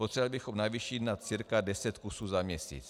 Potřebovali bychom navýšit na cca deset kusů za měsíc.